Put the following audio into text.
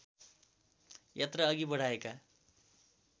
यात्रा अघि बढाएका